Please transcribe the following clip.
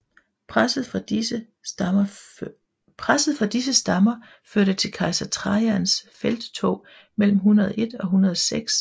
Presset fra disse stammer førte til kejser Trajans felttog mellem 102 og 106 e